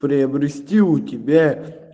приобрести у тебя